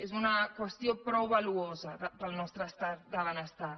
és una qüestió prou valuosa per al nostre estat de benestar